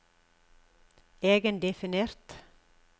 egendefinert